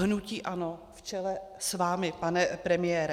Hnutí ANO v čele s vámi, pane premiére.